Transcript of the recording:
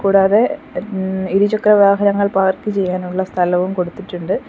കൂടാതെ ൻ ഇരുചക്രവാഹനങ്ങൾ പാർക്ക് ചെയ്യാനുള്ള സ്ഥലവും കൊടുത്തിട്ടുണ്ട്.